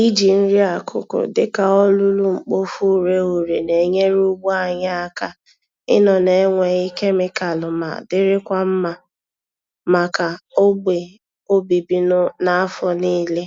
Iji nri-akụkụ dịka olulu-mkpofu-ureghure na-enyere ugbo anyị aka ịnọ na-enweghị kemịkalụ ma dirikwa mma màkà ogbè obibi n'afọ niile.